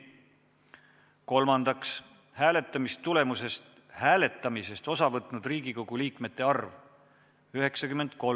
Kolmandaks, hääletamisest osa võtnud liikmete arv – 93.